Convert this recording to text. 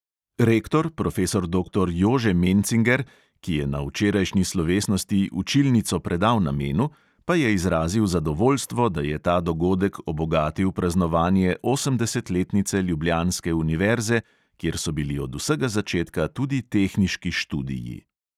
Rektor profesor doktor jože mencinger, ki je na včerjašnji slovesnosti učilnico predal namenu, pa je izrazil zadovoljstvo, da je ta dogodek obogatil praznovanje osemdesetletnice ljubljanske univerze, kjer so bili od vsega začetka tudi tehniški študiji.